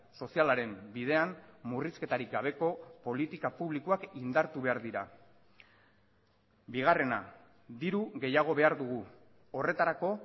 sozialaren bidean murrizketarik gabeko politika publikoak indartu behar dira bigarrena diru gehiago behar dugu horretarako